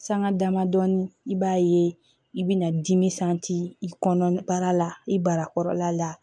Sanga damadɔni i b'a ye i bɛna dimi i kɔnɔ baara la i barala la